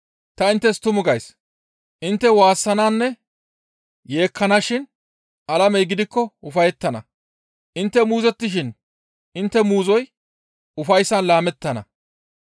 Ta inttes tuma gays; intte waassananne yeekkanashin alamey gidikko ufayettana. Intte muuzottishin intte muuzoy ufayssan laamettana.